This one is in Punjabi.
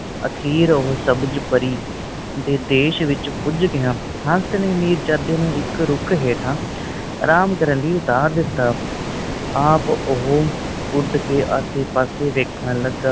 ਆਖਿਰ ਉਹ ਸਬਜ ਪਰੀ ਦੇ ਦੇਸ਼ ਵਿੱਚ ਪੁੱਜ ਗਿਆ। ਹੰਸ ਨੇ ਵੀ ਮੀਰਜਾਦੇ ਨੂੰ ਇਕ ਰੁੱਖ ਹੇਠਾ ਅਰਾਮ ਕਰਨ ਲਈ ਉਤਾਰ ਦਿੱਤਾ। ਆਪ ਉਹ ਉੱਡ ਕੇ ਆਸੇ ਪਾਸੇ ਵੇਖਣ ਲੱਗਾ।